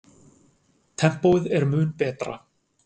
Tempóið er mun betra.